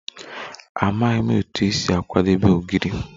Amaghị m otú e si akwadebe Ogiri